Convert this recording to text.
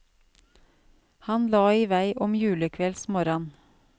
Han la i vei om julekveldsmorran.